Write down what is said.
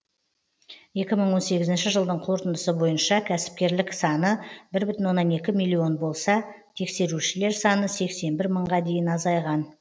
екі мың он сегізінші жылдың қорытындысы бойынша кәсіпкерлік саны бір бүтін оннан екі миллион болса тексерушілер саны сексен бір мыңға дейін азайған